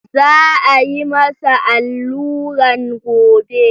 Za a yi masa alluran gobe.